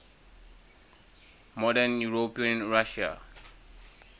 modern european russia